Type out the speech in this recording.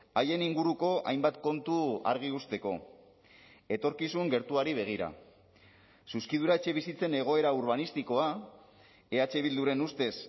haien inguruko hainbat kontu argi uzteko etorkizun gertuari begira zuzkidura etxebizitzen egoera urbanistikoa eh bilduren ustez